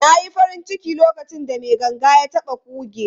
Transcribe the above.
Na yi farin ciki lokacin da mai ganga ya taɓa kuge.